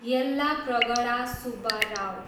Yellapragada Subbarao